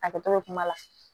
Hakɛto bɛ kuma la